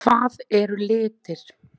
Hvað eru litir?